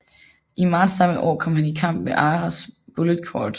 I marts samme år kom han i kamp ved Arras og Bullecourt